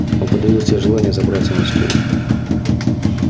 он подавил в себе желание забраться на стул